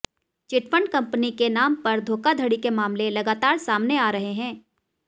chit fund company के नाम पर धोखाधड़ी के मामले लगातार सामने आ रहे हैं